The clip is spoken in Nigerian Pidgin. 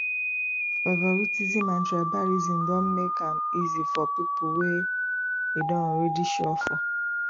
favouritism and tribalism dem make am easy for pipo wey e don already sure for